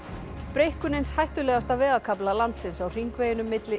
breikkun eins hættulegasta vegarkafla landsins á hringveginum milli